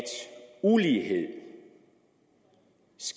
det